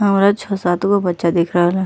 औरो छ सात गो बच्चा दिख रहल ह।